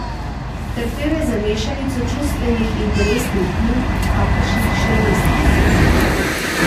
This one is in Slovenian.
Trpel je za mešanico čustvenih in telesnih muk, kakršnih še ni izkusil.